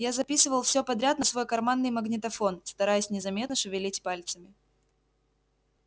я записывал всё подряд на свой карманный магнитофон стараясь незаметно шевелить пальцами